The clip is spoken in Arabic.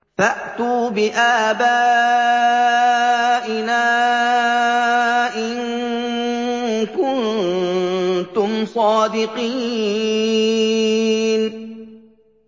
فَأْتُوا بِآبَائِنَا إِن كُنتُمْ صَادِقِينَ